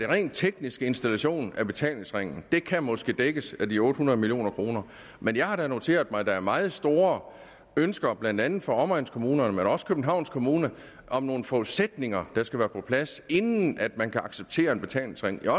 rent teknisk installation af betalingsringen det kan måske dækkes af de otte hundrede million kroner men jeg har da noteret mig at der er meget store ønsker blandt andet fra omegnskommunerne men også fra københavns kommune om nogle forudsætninger der skal være på plads inden man kan acceptere en betalingsring jeg